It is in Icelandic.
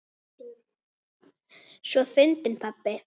Svo fyndinn pabbi!